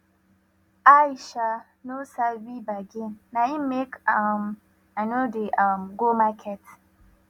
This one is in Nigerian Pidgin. i um no sabi bargain na im make um i no dey um go market